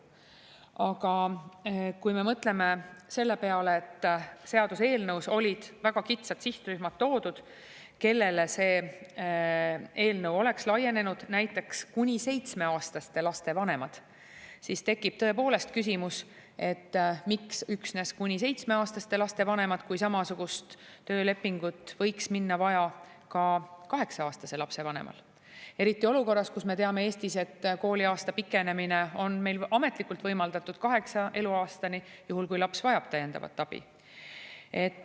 Aga kui me mõtleme selle peale, et seaduseelnõus olid ära toodud väga kitsad sihtrühmad, kellele see eelnõu oleks laienenud, näiteks kuni 7-aastaste laste vanemad, siis tekib tõepoolest küsimus, et miks üksnes kuni 7-aastaste laste vanemad, kui samasugust töölepingut võiks minna vaja ka 8-aastase lapse vanemal, eriti olukorras, kus me teame, et meil ametlikult pikendada kaheksanda eluaastani, juhul kui laps vajab täiendavat abi.